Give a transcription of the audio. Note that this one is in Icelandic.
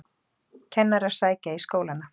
Kennarar sækja í skólana